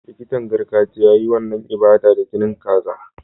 Likitan gargajiya ya yi wannan ibada da jinin kaza.